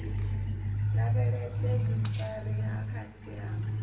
a lavhelese vhuifari ha khasiama